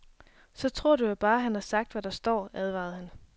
Så tror du jo bare, han har sagt, hvad der står, advarede han.